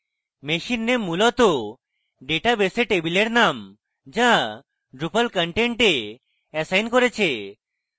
machine name মূলত ডেটাবেসে table name the drupal content assign করেছে